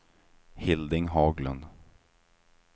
Hilding Haglund